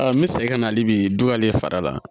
n bɛ segin ka na hali bi ale fara la